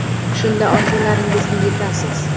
Shunda orzularingizga yetasiz.